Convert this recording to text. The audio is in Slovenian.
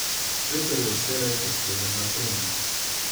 Peter je vselej dosleden na treningih.